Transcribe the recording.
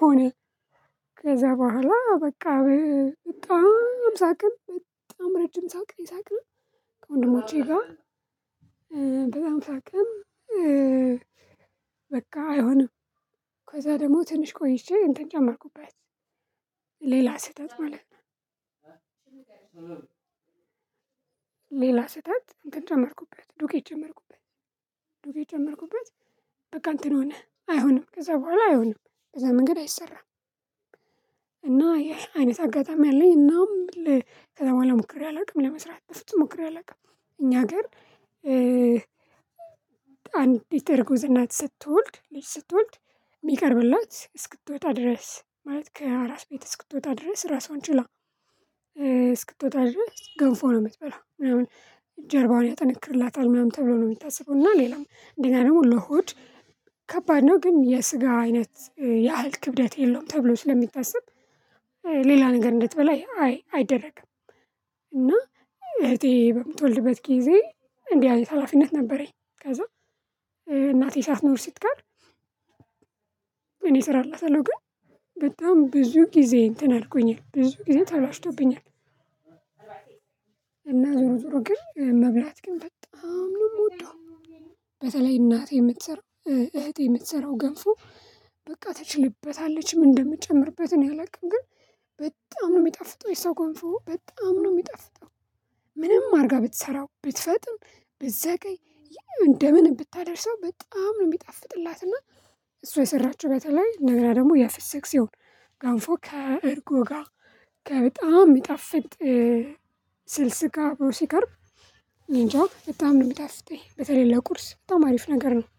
ሆኔ። ከዛ በኋላ በቃ በጣም ሳቅን በጣም ረጅም ሳቅ ነው የሳቅነው። ከወንድሞቼ ጋር በጣም ሳቅን። በቃ አይሆንም። ከዛ ደግሞ ትንሽ ቆይቼ እንትን ጨመርኩበት። ሌላስህተት ማለት። ሌላ ስህተት እንትን ጨመርኩበት ዱቄት ጨመርኩበት ዱቄት ጨመርኩበት። በቃ እንትን ሆነህ አይሆንም ከዛ በኋላ አይሆንም ከዛ መንገድ አይሰራም። እና ይሄ አይነት አጋጣሚ አለኝ። እና ከዛ በኋላ ሞክሬ አላውቅም ለመስራት በፍጹም ሞክሬ አላውቅም እኛ ሀገር። አንዲት እርጉዝ እናት ስትወልድ ልጅ ስትወልድ የሚቀርብላት እስክትወጣ ድረስ ማለት ከአራስ ቤት እስክትወጣ ድረስ ራሷን ችላ። እስክትወጣ ድረስ ገንፎ ነው የምትበላው ምናምን። ጀርባውን ያጠነክርላታል ምናምን ተብሎ ነው የሚታሰበው። እና ሌላው እንደገና ደግሞ ለሆድ ከባድ ነው ግን የስጋ አይነት ያህል ክብደት የለውም ተብሎ ስለሚታሰብ ሌላ ነገር እንድትበላ አይደረግም። እና እህቴ በምትወልድበት ጊዜ እንዲህ አይነት ሀላፊነት ነበረኝ። ከዛ እናቴ ሳትኖር ስትቀር። እኔ እሰራላታለው ግን በጣም ብዙ ጊዜ እንትን አድርጎኛል ብዙ ጊዜ ተላሽቶብኛል። እና ዞሮ ዞሮ ግን መብላት ግን በጣም ነው የምወደው። በተለይ እናቴ የምትሰራው እህቴ የምትሰራው ገንፎ። በቃ ትችልበታለች ምን እንደምጨምርበት እኔ አላቅም። ግን በጣም ነው የሚጠፍጠው የሷ ገንፎ በጣም ነው የሚጠፍጠው። ምንም አድርጋ ብትሰራው ብትፈጥን ብትዘገይ እንደምን ብታደርሰው በጣም ነው የሚጣፍጥላትና እሷ የሰራችው በተለይ እንደገና ደግሞ የፍሰክ ሲሆን ገንፎ ከእርጎ ጋር በጣም የሚጣፍጥ። ስልስ ጋር ሲቀርብ እኔ እንጃ በጣም ነው የምጣፍጠኝ። በተለይ ለቁርስ በጣም አሪፍ ነገር ነው